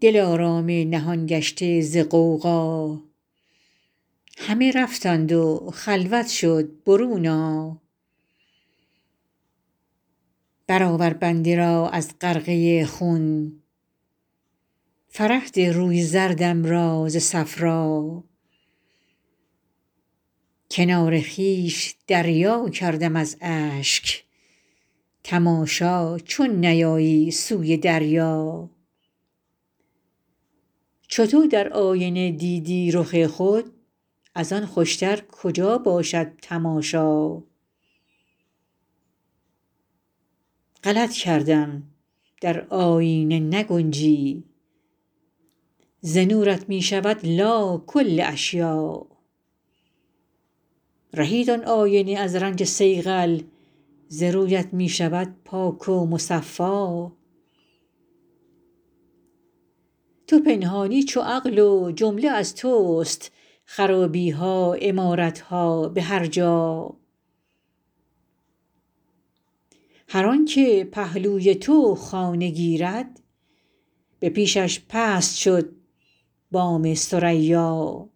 دلارام نهان گشته ز غوغا همه رفتند و خلوت شد برون آ برآور بنده را از غرقه خون فرح ده روی زردم را ز صفرا کنار خویش دریا کردم از اشک تماشا چون نیایی سوی دریا چو تو در آینه دیدی رخ خود از آن خوشتر کجا باشد تماشا غلط کردم در آیینه نگنجی ز نورت می شود لا کل اشیاء رهید آن آینه از رنج صیقل ز رویت می شود پاک و مصفا تو پنهانی چو عقل و جمله از تست خرابی ها عمارت ها به هر جا هر آنک پهلوی تو خانه گیرد به پیشش پست شد بام ثریا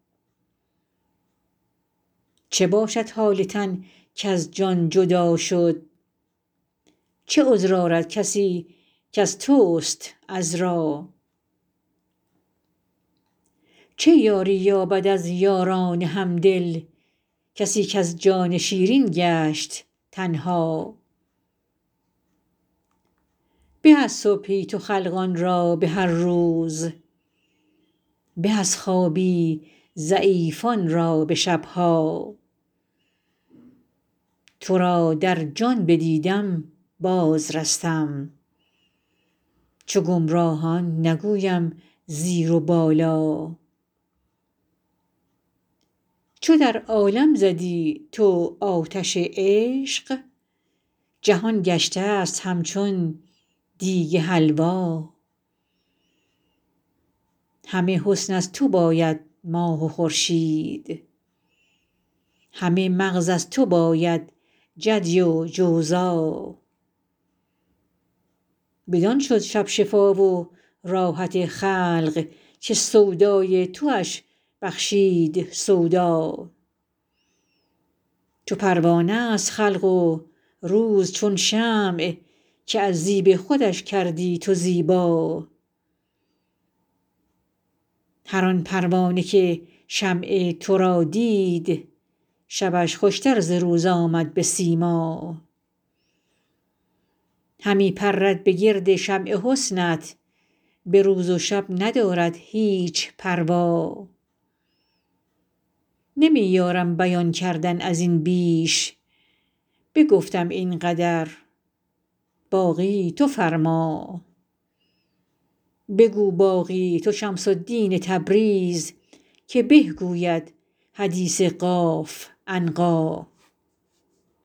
چه باشد حال تن کز جان جدا شد چه عذر آرد کسی کز تست عذرا چه یاری یابد از یاران همدل کسی کز جان شیرین گشت تنها به از صبحی تو خلقان را به هر روز به از خوابی ضعیفان را به شب ها تو را در جان بدیدم بازرستم چو گمراهان نگویم زیر و بالا چو در عالم زدی تو آتش عشق جهان گشتست همچون دیگ حلوا همه حسن از تو باید ماه و خورشید همه مغز از تو باید جدی و جوزا بدان شد شب شفا و راحت خلق که سودای توش بخشید سودا چو پروانه ست خلق و روز چون شمع که از زیب خودش کردی تو زیبا هر آن پروانه که شمع تو را دید شبش خوشتر ز روز آمد به سیما همی پرد به گرد شمع حسنت به روز و شب ندارد هیچ پروا نمی یارم بیان کردن از این بیش بگفتم این قدر باقی تو فرما بگو باقی تو شمس الدین تبریز که به گوید حدیث قاف عنقا